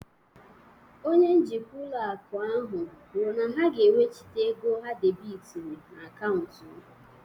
Onye njikwa ụlọ akụ ahụ kwuru na ha ga-ewechita ego ha debịtịrị na akaụntụ m